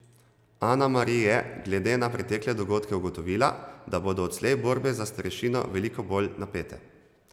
Ana Mari je, glede na pretekle dogodke ugotovila, da bodo odslej borbe za starešino veliko bolj napete.